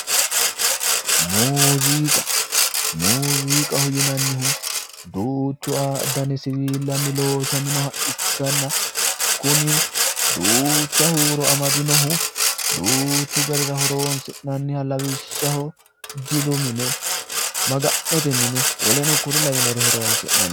Muuziqa, muuziqaho yinannihu duuchu dani siwiilanni loosaminoha ikkanna kunni duucha huuro amadinohu duuchu garira horonsi'nanniha jilu mine maga'note mine lawinorira horoonsi'nanni.